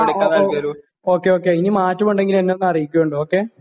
ങാ, ഓക്കേ, ഓക്കേ.ഇനി മാറ്റമുണ്ടെങ്കില് എന്നെ ഒന്ന് അറിയ്ക്ക് കേട്ടോ, ഓക്കേ?